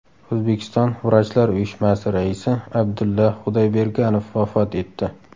O‘zbekiston vrachlar uyushmasi raisi Abdulla Xudoyberganov vafot etdi.